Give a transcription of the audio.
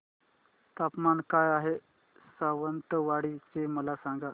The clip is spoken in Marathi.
तापमान काय आहे सावंतवाडी चे मला सांगा